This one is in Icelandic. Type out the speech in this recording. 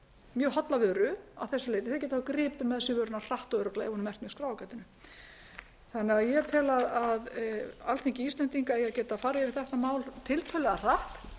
mjög holla vöru að þessu leyti geta gripið með sér barna hratt og örugglega ef hún er merkt með skráargatinu ég tel að alþingi íslendinga eigi að geta farið yfir þetta mál tiltölulega hratt